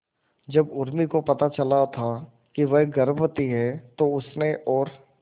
जब उर्मी को पता चला था वह गर्भवती है तो उसने और